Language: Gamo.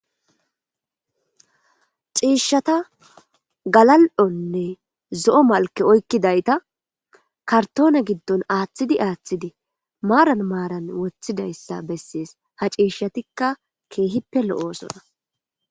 Ciishata galal'onne zo'o malke oykkidayta kartoone giddon aaththidi aaththidi maaran maaran woththidayssa bessees ha ciishshatikka keehippe lo'oosona.